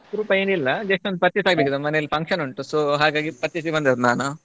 ಅಪರೂಪ ಏನಿಲ್ಲ just ಒಂದು purchase ಆಗ್ಬೇಕಿತ್ತು ಮನೆಯಲ್ಲಿ function ಉಂಟು so ಹಾಗಾಗಿ purchase ಗೆ ಬಂದದ್ದು ನಾನು.